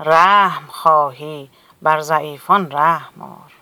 رحم خواهی بر ضعیفان رحم آر